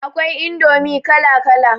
Akwai indomi kala kala